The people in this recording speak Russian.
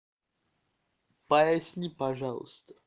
поясни пожалуйста